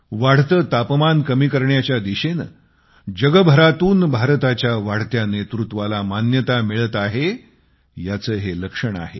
वाढत तापमान कमी करण्याच्या दिशेने जगभरातून भारतीय नेतृत्वाला मान्यता मिळते आहे याचे हे लक्षण आहे